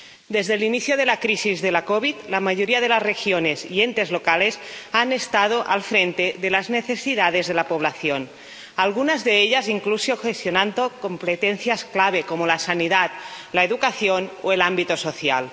Desde el inicio de la crisis de la COVID, la mayoría de las regiones y entes locales han estado al frente de las necesidades de la población, algunas de ellas incluso gestionando competencias clave como la sanidad, la educación o el ámbito social.